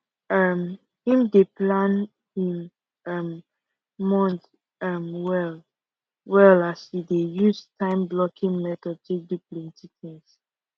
um him dey plan him um month um well well as e dey use time blocking method take do plenty